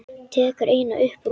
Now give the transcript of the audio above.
Tekur eina upp úr honum.